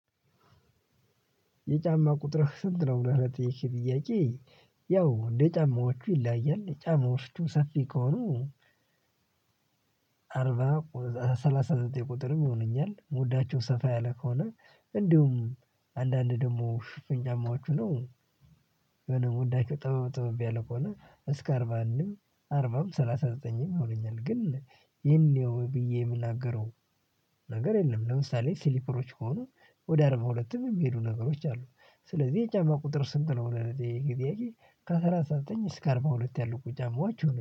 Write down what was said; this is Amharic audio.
የጫማ ቁጥርህ ስንት ነው? ብለህ ለጠየከኝ ጥያቄ ያው እንደ ጫማዎቹ ይለያያል። የጫማዎቹ ሰፊ ከሆኑ አርባ ሰላሳ ዘጠኝ ቁጥርም ይሆነኛል። የምወዳቸው ሰፋ ያለ ከሆነ እንዲሁም አንዳንድ ደግሞ ሽፍን ጫማዎች ሁነው የምወዳቸው ጠበብ ጠበብ ያለ ከሆነ እስከ አርባ አንድም አርባም ሰላሳ ዘጠኝም ይሆነኛል። ግን ይሄን ያው ብዬ የምናገረው ነገር የለም ለምሳሌ ሲሊፐሮች ከሆኑ ወደ አርባ ሁለትም የሚሄዱ ነገሮች አሉ። ስለዚህ የጫማ ቁጥር ስንት ነው ለጠየከኝ ጥያቄ ከሰላሳ ዘጠኝ እስከ አርባ ሁለት ያሉት ጫማዎቹ ይሆኑኛል።